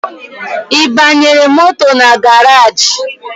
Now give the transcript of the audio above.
I banyere moto na garaji?